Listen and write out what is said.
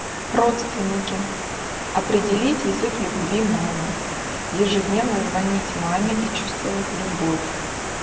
родственники определить язык любви мамы ежедневно звонить маме и чувствовать любовь